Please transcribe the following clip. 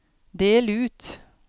del ut